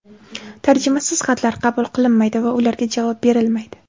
Tarjimasiz xatlar qabul qilinmaydi va ularga javob berilmaydi.